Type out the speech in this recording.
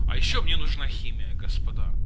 а ещё мне нужна химия господа